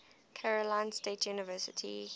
carolina state university